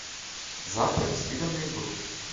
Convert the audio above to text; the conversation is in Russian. завтрак с видом на эльбрус